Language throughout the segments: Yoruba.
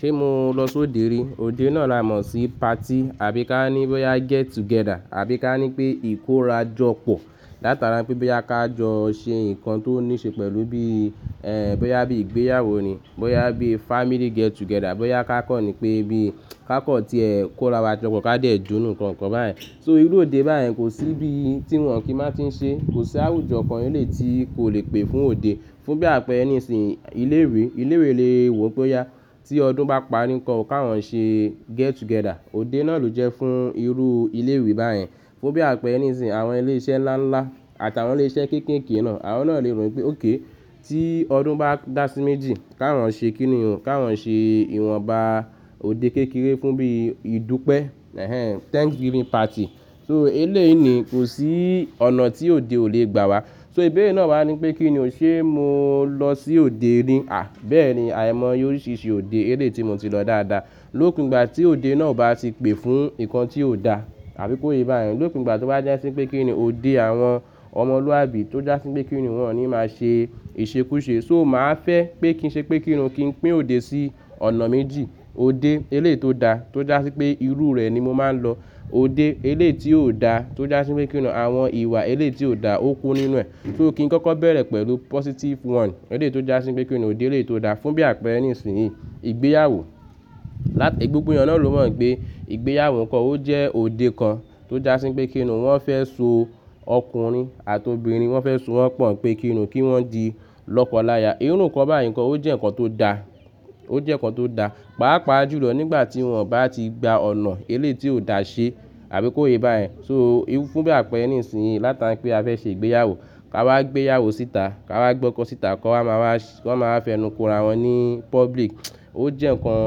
Ṣé mo lọ sóde rí? Ode náà la mọ̀ sí party àbí ká ní bóyá get together, àbí ká ní pé ìkóra jọ pọ̀. Látara pé bóyá ká jọ ṣe nǹkan tó ní ṣe pẹ̀lú bí, ẹ́, bóyá bí ìgbéyàwó ni, bóyá bí family get together, bóyá ká kọ́ni pé bí ká kọ̀ tí ẹ kó ra wa jọkòó ká dẹ́ jó nǹkan kan báyen So irú òde báyìí kò sí bí tí wọ́n kí n máa ti ń ṣe. Kò sí àwùjọ kan ni lè tí kò le pè fún òde. Fún bí àpẹẹrẹ nísìí ilé ìwé, ilé ìwé lè wò pé ó yá tí ọdún bá parí nǹkan kí wọ́n ṣe get together. Òde náà ló jẹ́ fún irú ilé ìwé báyìí. Fún bí àpẹẹrẹ nísìí àwọn ilé iṣẹ́ ńlá ńlá àtàwọn ilé iṣẹ́ kéékèèké náà, àwọn náà lè rò pé óké tí ọdún bá dá sí méjì kí wọ́n ṣe kíni òun, kí wọ́n ṣe ìwọnba òde kékeré fún bí ìdúpẹ́, ẹ́hẹn, Thanksgiving party. So eléèní kò sí ọ̀nà tí òde ò le gbà wá. So ìbéèrè náà máa ní pé kí ni òun ṣé mo lọ sí òde rí? À, bẹ́ẹ̀ni àìmọ́ yóò oriṣirisi òde eléèti mo ti lọ dáadáa. Lókùn ìgbà tí òde náà bá ti pè fún nǹkan tí ò da àbí kó ye bá yẹn, lókùn ìgbà tí ó bá jásí pé kíni òde àwọn ọmọlúwàbí tó jásí pé kíni wọ́n ní máa ṣe ìṣekúṣe. So màá fẹ́ pé kí n ṣe pé kíni òun kí n pín òde sí ọ̀nà méjì. Ode eléèti ó da tó jásí pé irú rẹ̀ ni mo máa ń lọ. Ode eléèti ó da tó jásí pé kíni òun àwọn ìwà eléèti ó da ó kú nínú ẹ̀. So kí n kọ́kọ́ bẹ̀rẹ̀ pẹ̀lú positive one eléèti ó jásí pé kíni òde eléèti ó da. Fún bí àpẹẹrẹ nísìí ìgbéyàwó. Láti gbogbo ẹni náà ló mọ̀ pé ìgbéyàwó nǹkan ó jẹ́ òde kan tó jásí pé kíni wọ́n fẹ́ so ọkùnrin àti obìnrin wọ́n fẹ́ so wọ́n pọ̀n pé kíni òun kí wọ́n di lọ́kọ̀ láya. Irú nǹkan báyìí nǹkan ó jẹ́ nǹkan tó da, ó jẹ́ nǹkan tó da. Pápa jùlọ nígbà tí wọ́n bá ti gba ọ̀nà eléèti ó da ṣe àbí kó ye bá yẹn. So fún bí àpẹẹrẹ nísìí látara pé a fẹ́ ṣe ìgbéyàwó, ká wá gbéyàwó síta, ká wá gbọ́kọ́ síta, ká máa wá, ká máa fẹnu kóra wọn ní public. Ó jẹ́ nǹkan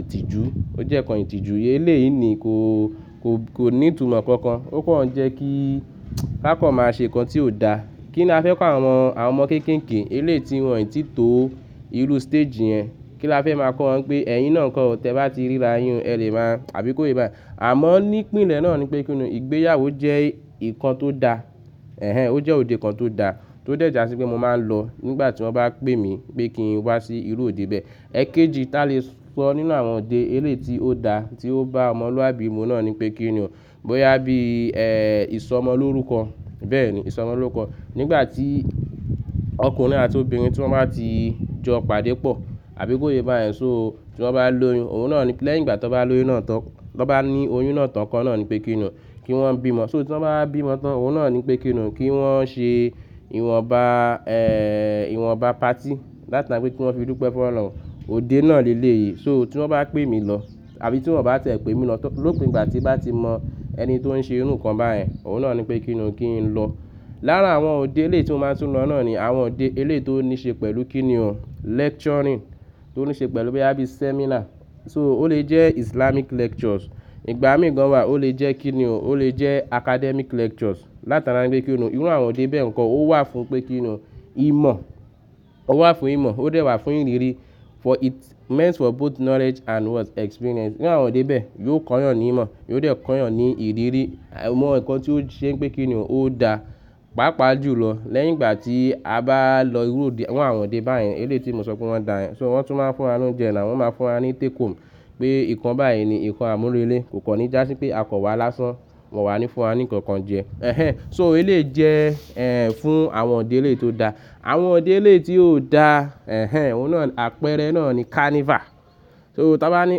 ìtìjú, ó jẹ́ nǹkan ìtìjú. Eléèní kò, kò, kò ní ìtumọ̀ kankan. Ó pọ̀ ń jẹ́ kí ká kọ̀ máa ṣe nǹkan tí ò da. Kí ni a fẹ́ kọ àwọn, àwọn ọmọ kéékèèké eléèti wọ́n ò tí ì tó irú stage yẹn. Kí la fẹ́ máa kọ wọ́n pé ẹ̀yin náà nǹkan tẹ bá ti ríra yin ẹ lè máa àbí kó ye bá yẹn. Àmọ́ nípinlẹ̀ náà ni pé kíni ìgbéyàwó jẹ́ nǹkan tó da. Ẹ̀hẹn, ó jẹ́ òde kan tó da tó dẹ̀ jásí pé mo máa ń lọ nígbà tí wọ́n bá pè mí pé kí n wá sí irú òde bẹ́ẹ̀. Ẹ̀kéjì tá lè sọ nínú àwọn òde eléèti ó da tí ó bá ọmọlúwàbí mu náà ni pé kíni òun bóyá bí, ẹ́, ìsọmọlórúkọ. Bẹ́ẹ̀ni ìsọmọlórúkọ. Nígbà tí ọkùnrin àti obìnrin tí wọ́n bá ti jọ pàdé pọ̀ àbí kó ye bá yẹn, so tí wọ́n bá lóyún òun náà ni lẹ́yìn ìgbà tí wọ́n bá lóyún náà tán, tí wọ́n bá ní oyún náà tán kọ́ náà ni pé kíni òun kí wọ́n bímo. So tí wọ́n bá bímo tán, òun náà ni pé kíni òun kí wọ́n ṣe ìwọnba, ẹ́, ìwọnba party látara pé kí wọ́n fi dúpẹ́ fún ọ̀'loun Ode náà ni eléèyí. So tí wọ́n bá pè mí lọ àbí tí wọ́n bá tẹ̀pẹ́ mi lọ tán lókùn ìgbà tí bá ti mọ ẹni tó ń ṣe irú nǹkan báyìí, òun náà ni pé kíni òun kí n lọ. Lára àwọn òde eléèti ó máa ń tún lọ náà ni àwọn òde eléèti ó ní ṣe pẹ̀lú kíni òun lecturing tí ó ní ṣe pẹ̀lú bí i bóyá bí seminar. So ó lè jẹ́ Islamic lectures. Nígbà mìíràn wá ó lè jẹ́ kíni òun ó lè jẹ́ academic lectures látara pé kíni òun irú àwọn òde bẹ́ẹ̀ nǹkan ó wà fún pé kíni ò un ìmọ̀. Ó wà fún ìmọ̀, ó dẹ̀ wà fún ìrírí. For it means for both knowledge and what experience. Ní àwọn òde bẹ́ẹ̀ yóò kọ́yàn ní ìmọ̀, yóò dẹ̀ kọ́yàn ní ìrírí. Àmo nǹkan tí ó ṣe pé kíni òun ó da. Pápa jùlọ lẹ́yìn ìgbà tí a bá lọ irú òde, àwọn òde báyìí eléèti mo sọ pé wọ́n da yẹn. So wọ́n tún máa ń fún wa ní oúnjẹ náà, wọ́n máa ń fún wa ní take home pé nǹkan báyìí ni nǹkan àmúrelé. Kò kọ́ ní jásí pé a kọ̀ wá lásán, wọ́n wà ní fún wa ní nǹkan kan jẹ. Ẹ̀hẹn, so ò eléè jẹ́, ẹ́, fún àwọn òde eléèti ó da. Àwọn òde eléèti ó da, ẹ̀hẹn, òun náà àpẹẹrẹ náà ni carnival. So tí a bá ní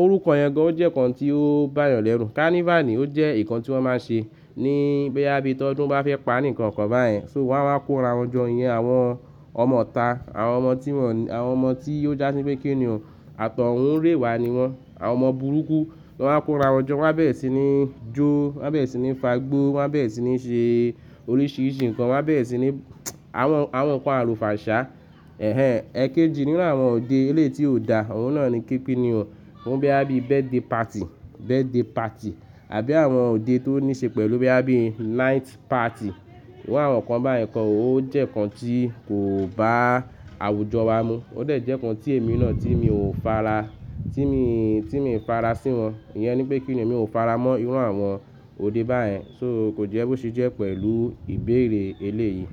orúkọ yẹn gan ó jẹ́ nǹkan tí ó bá yàn lẹ́rù. Carnival ni ó jẹ́ nǹkan tí wọ́n máa ń ṣe ní bí i bóyá bí tọdún bá fẹ́ parí nǹkan kan báyen. So wọ́n máa ń kó ra wọn jọ yẹn àwọn ọmọ ọta, àwọn ọmọ tí wọ́n, àwọn ọmọ tí ó jásí pé kíni òun àtọ̀hún rè wá ni wọ́n. Àwọn ọmọ burúkú wọ́n máa ń kó ra wọn jọ, wọ́n bá bẹ́ẹ̀ sì ni jó, wọ́n bá bẹ́ẹ̀ sì ni fagbó, wọ́n bá bẹ́ẹ̀ sì ni ṣe oríṣiríṣi nǹkan, wọ́n bá bẹ́ẹ̀re sì ni àwọn, àwọn nǹkan àlùfàǹsá. Ẹ̀hẹn, ẹ́kẹ́jì nínú àwọn òde eléèti ó da òun náà ni képin ni o. Òun bí i bóyá bí birthday party, birthday party àbí àwọn òde tó ní ṣe pẹ̀lú bí i bóyá bí night party. Irú àwọn nǹkan báyìí nǹkan ó jẹ́ nǹkan tí kò bá àwùjọ wa mu. Ó dẹ̀ jẹ́ nǹkan tí èmi náà tí èmi ò fara, tí mi, tí mi fara sí wọn. Iyẹn ni pé kíni òun èmi ò fara mọ́ irú àwọn òde báyìí. So kò jẹ́ bó ṣe jẹ́ pẹ̀lú ìbéèrè eléèyí.